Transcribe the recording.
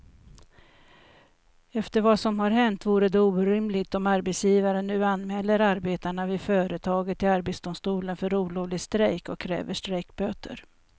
Efter vad som har hänt vore det orimligt om arbetsgivaren nu anmäler arbetarna vid företaget till arbetsdomstolen för olovlig strejk och kräver strejkböter.